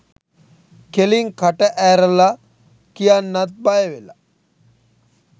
කෙලින් කට ඈරල කියන්නත් බයවෙල?